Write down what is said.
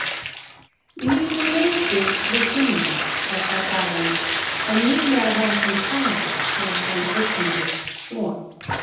Lífið leikur við Gunnar þessa dagana en nýlega varð hann faðir þegar hann eignaðist son.